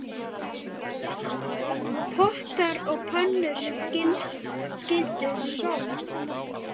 Pottar og pönnur skyldu sótt.